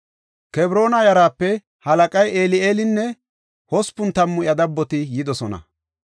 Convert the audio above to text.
Kebroona yaraape halaqay Eli7eelinne hospun tammu iya dabboti yidosona.